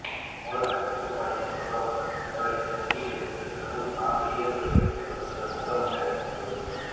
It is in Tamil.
மூலதனக் கட்டுப்பாடு என்று கூறப்படும் இந்த நடவடிக்கை வங்கிகளிலிருந்து பெருமளவு பணம் வெளியேறுவதைத் தவிர்ப்பதற்காக முன்னெடுக்கப்பட்டுள்ளது